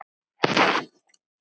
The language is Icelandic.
Nú, hvernig þá?